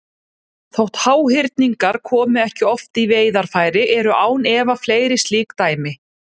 Þótt háhyrningar komi ekki oft í veiðarfæri eru án efa fleiri slík dæmi.